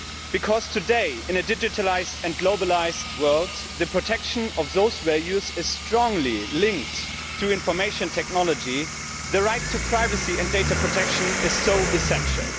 Because today, in a digitalised and globalised world, the protection of those values is strongly linked to information technology, and so the right to privacy and data protection is essential.